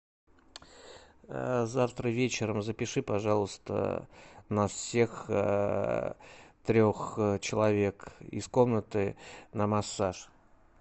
завтра вечером запиши пожалуйста нас всех трех человек из комнаты на массаж